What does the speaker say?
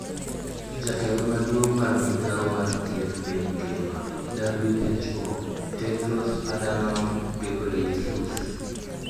Jatelo maduong` mar migawo mar thieth piny ngima (WHO) Tedros Adhanom Ghebreyesus